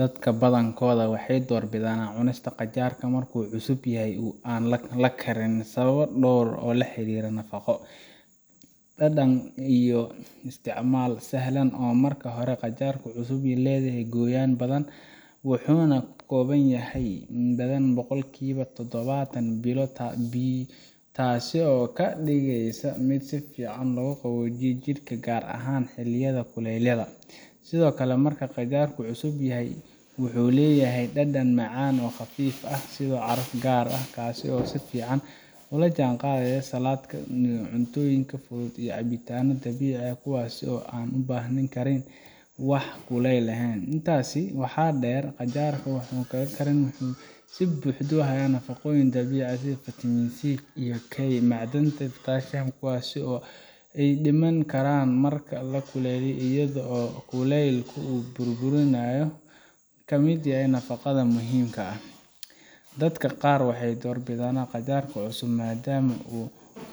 dadka badankood waxay door bidaan cunista qajaarka marka uu cusub yahay oo aan la karin sababo dhowr ah oo la xiriira nafaqo, dhadhan iyo isticmaal sahlan marka hore qajaarka cusub wuxuu leeyahay qoyaan badan wuxuuna ka kooban yahay in ka badan boqolkiiba todobaatan biyo taasoo ka dhigaysa mid si fiican u qaboojiya jidhka gaar ahaan xilliyada kulaylaha sidoo kale marka uu qajaarku cusub yahay wuxuu leeyahay dhadhan macaan oo khafiif ah iyo caraf gaar ah kaasoo si fiican ula jaanqaada saladhka cuntooyinka fudud iyo cabitaanada dabiiciga ah kuwaasoo aan u baahnayn karin wax kululayn ah intaa waxaa dheer qajaarka aan la karin wuxuu si buuxda u hayaa nafaqooyinka dabiiciga ah sida fitamiinada c iyo k iyo macdanta sida potassium kuwaasoo ay dhiman karaan marka la kululeeyo iyadoo kulaylka uu burburiyo qaybo ka mid ah nafaqada muhiimka ah dadka qaar waxay door bidaan qajaarka cusub maadaama uu